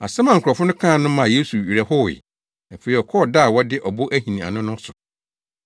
Asɛm a nkurɔfo no kaa no maa Yesu werɛ howee. Afei ɔkɔɔ ɔda a wɔde ɔbo ahini ano no so.